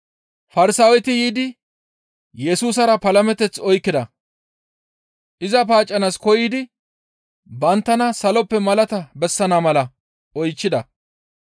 Farsaaweti yiidi Yesusara palameteth oykkida; iza paaccanaas koyidi banttana saloppe malaata bessana mala oychchida.